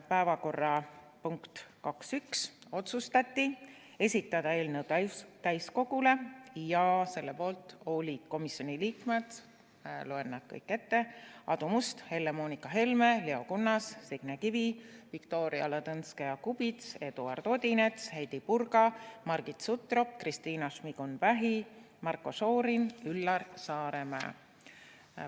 Päevakorrapunkt 2.1: otsustati esitada eelnõu täiskogule ja selle poolt olid komisjoni liikmed – loen nad kõik ette – Aadu Must, Helle-Moonika Helme, Leo Kunnas, Signe Kivi, Viktoria Ladõnskaja-Kubits, Eduard Odinets, Heidy Purga, Margit Sutrop, Kristina Šmigun-Vähi, Marko Šorin ja Üllar Saaremäe.